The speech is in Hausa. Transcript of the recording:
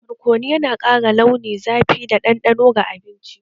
Barkono yana ƙara launi, zafi da ɗanɗano ga abinci